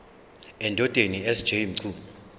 endodeni sj mchunu